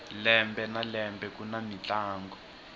lembe na lembe kuni mintlangu